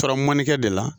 Taara mandenkɛ de la